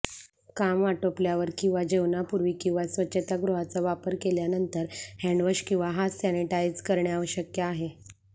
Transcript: काम आटोपल्यावर किंवा जेवणापूर्वी किंवा स्वच्छतागृहाचा वापर केल्यानंतर हँडवॉश किंवा हात सॅनिटाइज करणे आवश्यक आहे